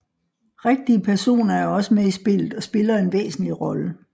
Rigtige personer er også med i spillet og spiller en væsentligt rolle